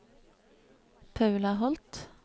Paula Holth